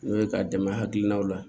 N'o ye ka dɛmɛ hakilinaw la